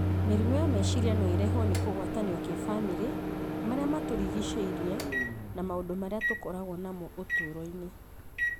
Mĩrimũ ya meciria no ĩrehwo nĩ kũgwatanio kĩbamĩrĩ, marĩa matũrigicĩirie na maũndũ marĩa tũkoragwo namo ũtũũro-inĩ.